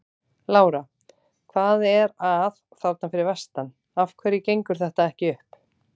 Lára: Hvað er að þarna fyrir vestan, af hverju gengur þetta ekki upp?